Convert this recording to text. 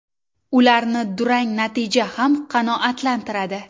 Ularni durang natija ham qanoatlantiradi.